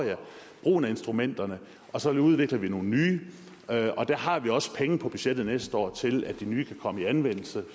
brugen af instrumenterne og så udvikler vi nogle nye og der har vi også penge på budgettet næste år til at de nye kan komme i anvendelse